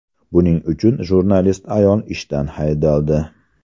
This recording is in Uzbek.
Buning uchun jurnalist ayol ishdan haydaldi.